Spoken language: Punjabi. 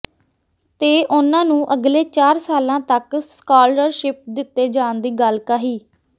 ਤੇ ਉਨ੍ਹਾਂ ਨੂੰ ਅਗਲੇ ਚਾਰ ਸਾਲਾਂ ਤੱਕ ਸਕਾਲਰਸ਼ਿੱਪ ਦਿੱਤੇ ਜਾਣ ਦੀ ਗੱਲ ਕਹੀ